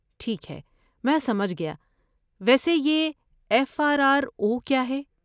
ٹھیک ہے، میں سمجھ گیا۔ ویسے یہ ایف آر آر او کیا ہے؟